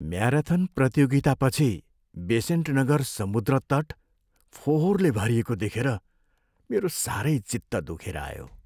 Marathon प्रतियोगितापछि बेसान्त नगर समुद्र तट फोहोरले भरिएको देखेर मेरो साह्रै चित्त दुखेर आयो।